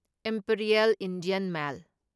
Imperial Indian mail